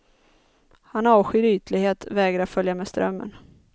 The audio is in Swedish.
Han avskyr ytlighet, vägrar följa med strömmen.